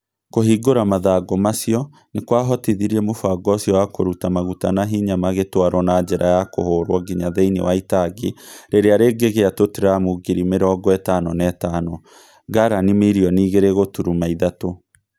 Kũhingũra mathangũ macio nĩ kwahotithirie mũbango ũcio wa kũruta maguta na hinya magĩtwarũo na njĩra ya kũhũrũo nginya thĩinĩ wa itangi rĩrĩa rĩngĩgĩa tũtaramu ngiri mĩrongo ĩtano na ĩtano (garani mirioni igĩrĩ gũturuma ithatũ).